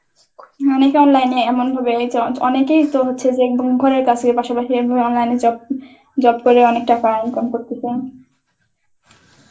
অনেকে online এমন ভাবে জ~ অনেকেই তো হচ্ছে যে ঘরের কাছে পাশাপাশি এভাবে online এ job~ job করে অনেক টাকা income করতেছে.